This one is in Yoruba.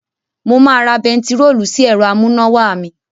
Mo máa ra bẹntiróòlù sí ẹ̀rọ amúnáwá mi.